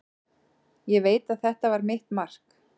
Ég veit að þetta var mitt mark.